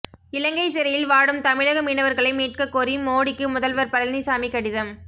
இலங்கை சிறையில் வாடும் தமிழக மீனவர்களை மீட்கக் கோரி மோடிக்கு முதல்வர் பழனிசாமி கடிதம்